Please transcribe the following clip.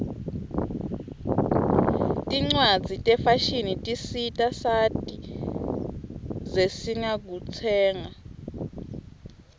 tincwaszi tefashini tisita sati zesingakutsenga